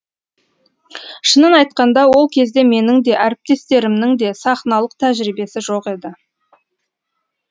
шынын айтқанда ол кезде менің де әріптестерімнің де сахналық тәжірибесі жоқ еді